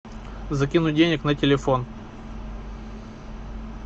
закинуть денег на телефон